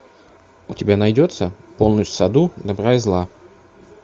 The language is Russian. у тебя найдется полночь в саду добра и зла